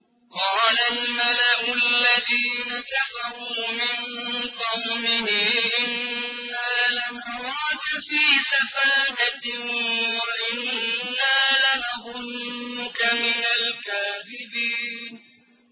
قَالَ الْمَلَأُ الَّذِينَ كَفَرُوا مِن قَوْمِهِ إِنَّا لَنَرَاكَ فِي سَفَاهَةٍ وَإِنَّا لَنَظُنُّكَ مِنَ الْكَاذِبِينَ